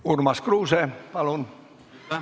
Urmas Kruuse, palun!